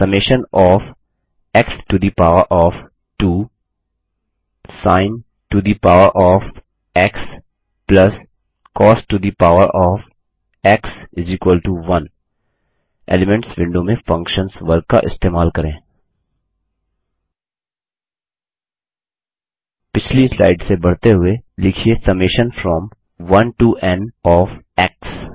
summation of x to the power of 2 sin to the power of x plus cos to the power of x 1 elements window में functions वर्ग का इस्तेमाल करें पिछली slide से बढ़ते हुए लिखिए summation from 1 to n of x